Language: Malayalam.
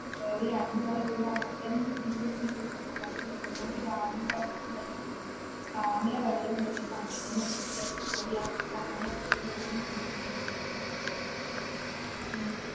ഒരു രണ്ടുനില വീടാണ് ഇടിഞ്ഞ് പൊളിഞ്ഞ് വീണ്. ചെറുതോണി dam ന്റെ അടുത്തുള്ളയാ dam ലെ വെള്ളം കയറിയതാ അങ്ങനെ തന്നെ ആ വീട്ടിലേക്ക് കയറി ആ വീടങ്ങനെ ഇടിഞ്ഞ് പൊളിഞ്ഞ് വീണേടി.